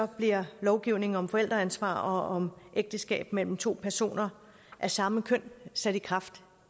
bliver lovgivningen om forældreansvar og om ægteskab mellem to personer af samme køn sat i kraft